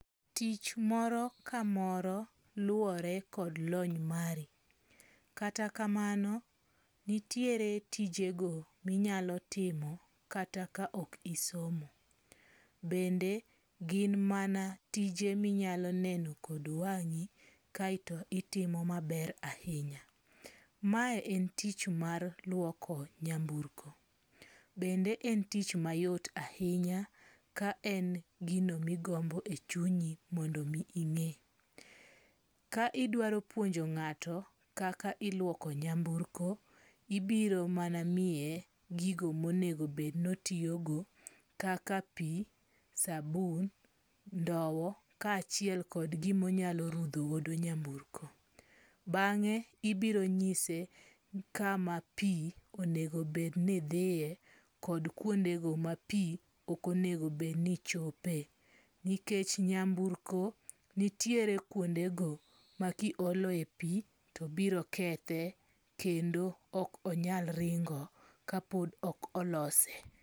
Tich moro ka moro luwore kod lony mari. Kata kamano nitiere tijego minyalo timo kata ka ok isomo. Bende gin mana tije minyalo neno kod wang'i kaeto itimo maber ahinya. Mae en tich mar luoko nyamburko. Bende en tich mayot ahinya ka en gino migombo e chunyi mondo omi ing'e. Ka idwaro pwonjo ng'ato kaka iluoko nyamburko ibiro mana miye gigi monego obed notiyogo kaka pi, sabun, ndow ka achiel kod gima onyalo rudho godo nyanburko. Bang'e ibiro nyise kama pi onego bed ni dhiye kod kwonde go ma pi ok onego bed ni chope. Nikech nyamburko nitiere kuondego ma kiolo e pi to biro kethe kendo ok onyal ringo ka pod ok olose.